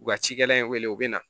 U ka cikɛla in wele u bɛ na